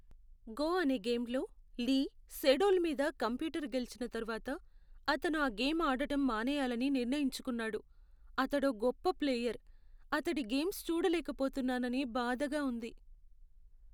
Go' అనే గేమ్లో Lee Sedol మీద కంప్యూటర్ గెలిచిన తర్వాత అతను ఆ గేమ్ ఆడటం మానేయాలని నిర్ణయించుకున్నాడు. అతడో గొప్ప ప్లేయర్, అతడి గేమ్స్ చూడలేకపోతున్నానని బాధగా ఉంది.